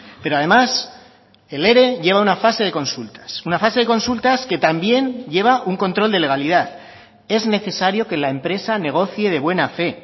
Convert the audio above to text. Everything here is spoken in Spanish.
pero además el ere lleva una fase de consultas una fase de consultas que también lleva un control de legalidad es necesario que la empresa negocie de buena fe